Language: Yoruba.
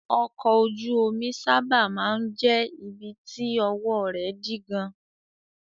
Ọkọ̀ ojú omi sábà máa ń jẹ́ ibi tí ọwọ́ rẹ̀ dí gan-an.